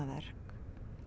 verk